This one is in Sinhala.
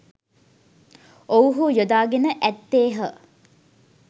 ඔවුහු යොදාගෙන ඇත්තේහ